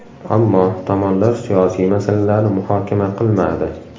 Ammo tomonlar siyosiy masalalarni muhokama qilmadi.